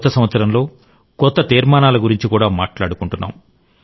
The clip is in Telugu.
కొత్త సంవత్సరంలో కొత్త తీర్మానాల గురించి కూడా మాట్లాడుకున్నాం